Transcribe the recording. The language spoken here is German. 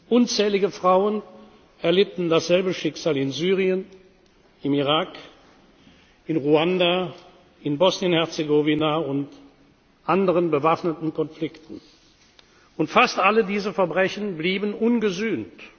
statt. Unzählige Frauen erlitten dasselbe Schicksal in Syrien, im Irak, in Ruanda, in Bosnien und Herzegowina und anderen bewaffneten Konflikten. Fast alle diese Verbrechen blieben ungesühnt.